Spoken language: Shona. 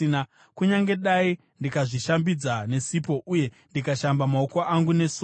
Kunyange dai ndikazvishambidza nesipo uye ndikashamba maoko angu nesoda,